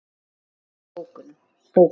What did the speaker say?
Hann lá í bókum.